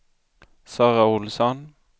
Sara Ohlsson